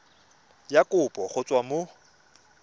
ya kopo go tswa mo